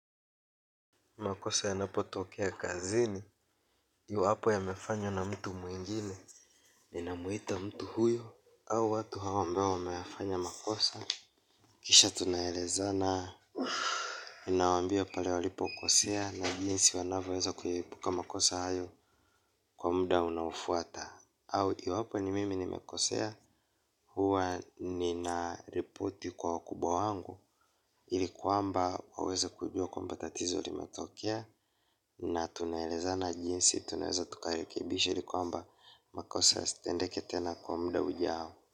Makosa yanapotokea kazini, ju hapo yamefanywa na mtu mwingine, ninamuita mtu huyo, au watu hao ambao wameyafanya makosa. Kisha tunaelezana ninawambia pale walipokosea na jinsi wanavoweza kuyaepuka makosa hayo kwa muda unaofuata. Au iwapo ni mimi nimekosea huwa ninaripoti kwa wakubwa wangu ili kwamba waweze kujua kwamba tatizo limetokea na tunaelezana jinsi tunaeza tukarekebisha ili kwamba makose yasitendeke tena kwa muda ujao.